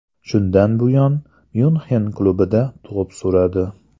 Shundan buyon Myunxen klubida to‘p suradi.